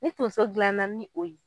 Ni tonso dilanna ni o ye.